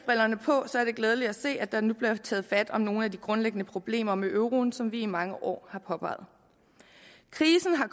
brillerne på er det glædeligt at se at der nu bliver taget fat om nogle af de grundlæggende problemer med euroen som vi i mange år har påpeget krisen har